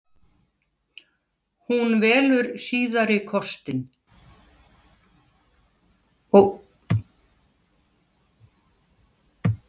Hún velur síðari kostinn.